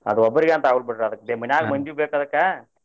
ಅದ ಒಬ್ರಿಗೆ ಅಂತ ಆಗುಲ್ಲ ಬಿಡ್ರಿ ಅದಕ ಮನ್ಯಾಗ ಬೇಕ ಅದಕ್ಕ.